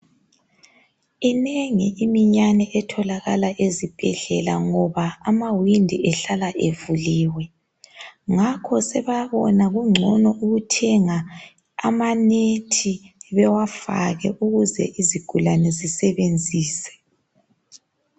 Inengi iminyani etholakala ezibhedlela ngoba amawindi ehlala evuliwe. Ngakho sebabona kungcono ukuthenga amanethi bewafake ukuze izigulane zisebenzise.